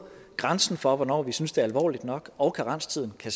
grænsen for hvornår vi synes det er alvorligt nok og karenstiden kan